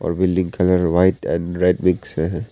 और बिल्डिंग का colour white and red mix है।